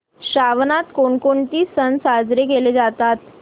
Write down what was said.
श्रावणात कोणकोणते सण साजरे केले जातात